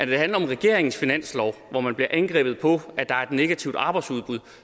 det handler om regeringens finanslov hvor man bliver angrebet på at der er negativt arbejdsudbud